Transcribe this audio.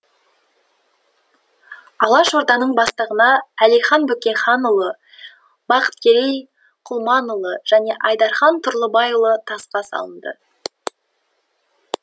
алаш орданың бастығына әлихан бөкейханұлы бақыткерей құлманұлы және айдархан тұрлыбайұлы тасқа салынды